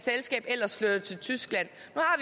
selskab ellers flytter til tyskland